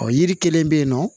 Ɔ yiri kelen bɛ yen nɔ